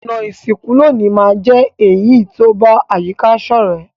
Ònà ìsìnkú loní ma n je èyí to ba àyíká sọ̀rẹ́